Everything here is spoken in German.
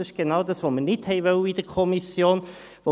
Das ist genau das, was wir in der Kommission nicht wollten.